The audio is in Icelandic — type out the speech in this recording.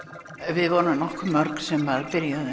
við vorum nokkuð mörg sem byrjuðum